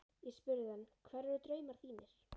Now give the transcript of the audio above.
Ég spurði hann: Hverjir eru draumar þínir?